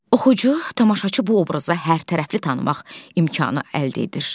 Oxucu, tamaşaçı bu obrazı hər tərəfli tanımaq imkanı əldə edir.